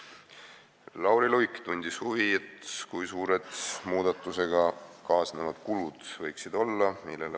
Lauri Luik tundis huvi, kui suured muudatusega kaasnevad kulud võiksid olla.